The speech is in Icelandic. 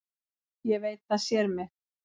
Ég veit að það sér mig.